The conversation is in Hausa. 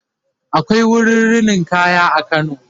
akwai wurin rinin kaya a kano